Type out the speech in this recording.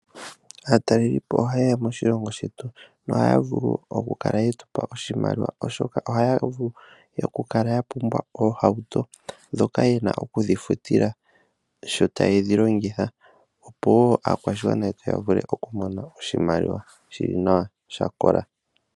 Aatalelipo oha yeya moshilongo shetu, noha ya vulu oku kala ye tupa oshimaliwa, oshoka ohaya vulu oku kala ya pumbwa oohauto ndhoka yena oku dhi futila sho ta yedhi longitha. Opo woo aakwashigwana yetu ya vule oku mona oshimaliwa shili nawa, sha kola.